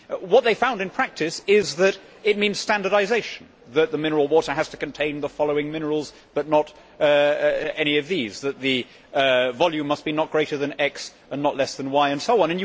What they found in practice is that it means standardisation that the mineral water has to contain the following minerals but not any of these', that the volume must be not greater than x and not less than y' and so on.